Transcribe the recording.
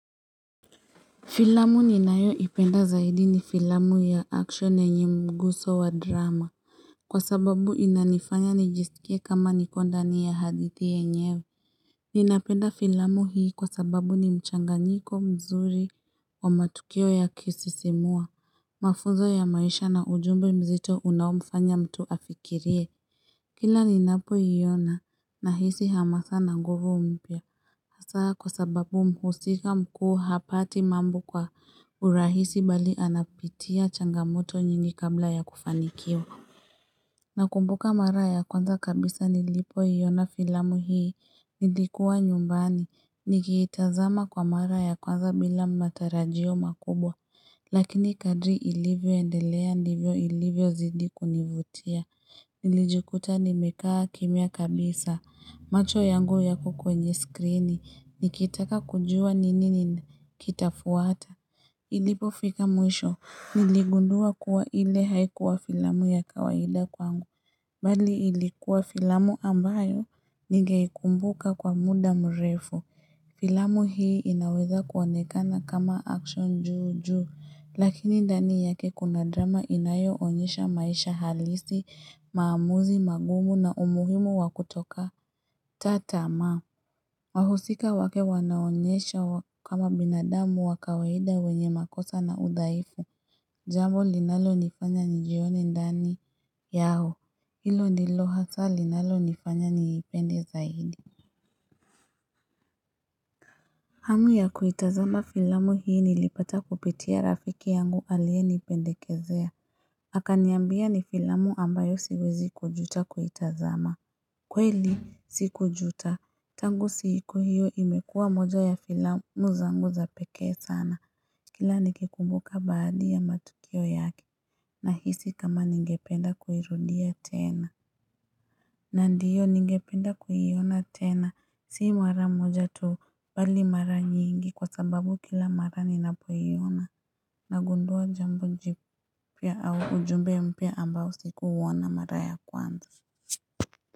Filamu ninayoipenda zaidi ni filamu ya action yenye mguso wa drama. Kwa sababu inanifanya nijisikie kama niko ndani ya hadithi yenyewe. Ninapenda filamu hii kwa sababu ni mchanganyiko mzuri wa matukio ya kusisimua. Mafuzo ya maisha na ujumbe mzito unaomfanya mtu afikirie. Kila ninapoiona nahisi hamasa na nguvu mpya. Haswa kwa sababu mhusika mkuu hapati mambo kwa urahisi mbali anapitia changamoto nyingi kabla ya kufanikiwa Nakumbuka mara ya kwanza kabisa nilipoiona filamu hii nilikuwa nyumbani nikiitazama kwa mara ya kwanza bila matarajio makubwa Lakini kadri ilivyoendelea ndivyo ilivyozidi kunivutia, nilijukuta nimekaa kimya kabisa, macho yangu yako kwenye skrini, nikitaka kujua ni nini kitafuata. Ilipofika mwisho, niligundua kuwa ile haikuwa filamu ya kawaida kwangu, mbali ilikuwa filamu ambayo ningeikumbuka kwa muda mrefu. Filamu hii inaweza kuonekana kama action juu juu, lakini ndani yake kuna drama inayoonyesha maisha halisi, maamuzi magumu na umuhimu wa kutoka. Wahusika wake wanaonesha kama binadamu wa kawaida wenye makosa na udhaifu, jambo linalo nifanya nijione ndani yao, hilo ndilo hasa linalo nifanya niipende zaidi. Hamu ya kuitazama filamu hii niliipata kupitia rafiki yangu aliyenipendekezea. Akaniambia ni filamu ambayo siwezi kujuta kuitazama. Kweli, sikujuta. Tangu siku hiyo imekua moja ya filamu zangu zapeke sana. Kila nikikumbuka baadhi ya matukio yake. Nahisi kama ningependa kuirudia tena. Na ndiyo ningependa kuiona tena si mara moja tu mbali mara nyingi kwa sababu kila mara ninapoiona nagundua jambo jipya au ujumbe mpya ambao sikuuoana mara ya kwanza.